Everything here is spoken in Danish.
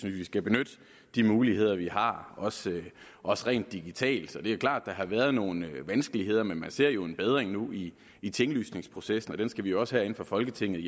at vi skal benytte de muligheder vi har også også rent digitalt det er klart at der har været nogle vanskeligheder men man ser jo en bedring nu i i tinglysningsprocessen og den skal vi også herinde fra folketingets